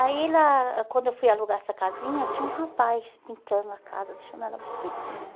Aí lá quando eu fui alugar essa casinha, tinha um rapaz pintando a casa, deixando ela bonitinha.